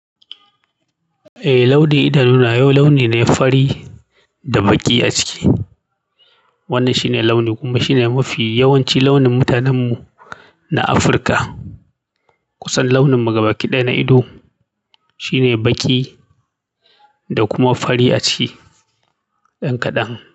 Eh launi idanu na yau launi ne fari da baƙi a ciki. Wannan shine launin kuma shine mafi yawanci launin mutanen mu na Afirka. Kusan launin mu gabaƙi ɗaya na ido shine baƙi da kuma fari a ciki dan kadan.